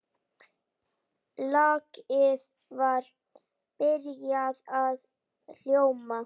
Lagið var byrjað að hljóma.